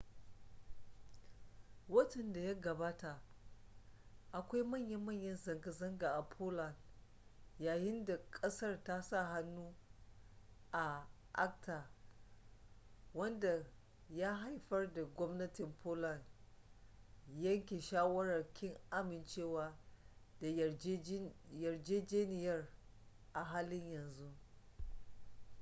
watan da ya gabata akwai manya-manya zanga-zanga a poland yayin da kasar ta sa hannu a acta wanda ya haifar da gwamnatin poland yanke shawarar kin amincewa da yarjejeniyar a halin yanzu